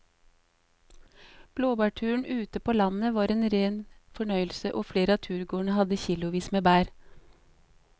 Blåbærturen ute på landet var en rein fornøyelse og flere av turgåerene hadde kilosvis med bær.